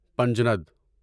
Panjnad